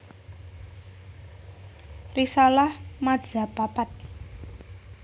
Risalah madzhab papat